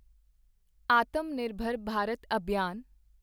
Atam Nirbhar Bharat Abhiyan